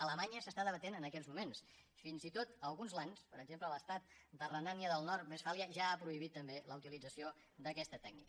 a alemanya s’està debatent en aquests moments fins i tot alguns lands per exemple l’estat de renània del nord westfàlia ja han prohibit també la utilització d’aquesta tècnica